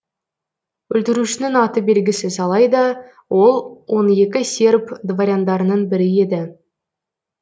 өлтірушінің аты белгісіз алайда ол он екі серб дворяндарының бірі еді